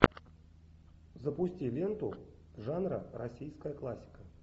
запусти ленту жанра российская классика